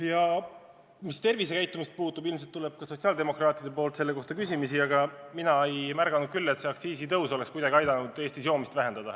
Mis tervisekäitumist puudutab – ilmselt tuleb ka sotsiaaldemokraatidelt selle kohta küsimusi –, siis mina küll ei märganud, et see aktsiisitõus oleks kuidagi aidanud Eestis joomist vähendada.